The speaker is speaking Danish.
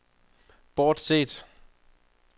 bortset